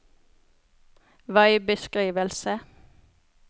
veibeskrivelse